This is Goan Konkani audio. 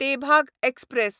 तेभाग एक्सप्रॅस